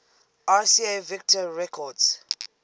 rca victor records